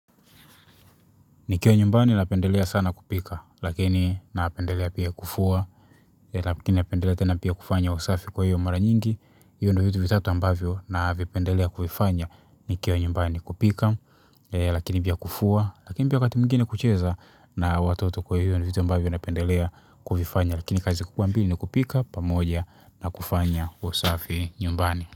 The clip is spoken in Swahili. Nikiwa nyumbani napendelea sana kupika, lakini napendelea pia kufua, lakini napendelea tena pia kufanya usafi kwa hiyo mara nyingi, hiyo ndio vitu vitatu ambavyo na vipendelea kuvifanya nikiwa nyumbani kupika, lakini pia kufua, lakini pia wakati mwingine kucheza na watoto kwa hiyo nivitu ambavyo napendelea kuvifanya, lakini kazi kubwambili ni kupika pamoja na kufanya usafi nyumbani.